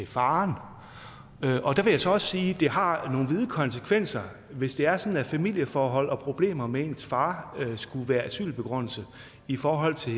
faren der vil jeg så også sige at det har nogle vide konsekvenser hvis det er sådan at familieforhold og problemer med ens far skulle være asylbegrundelse i forhold til